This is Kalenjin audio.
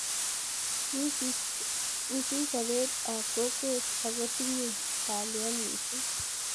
Wisis sopet ap kokwet ako tinye kalyet missing'